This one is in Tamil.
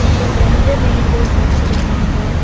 இங்க ரெண்டு மெயின் டோர்ஸ் வச்சிருக்காங்க.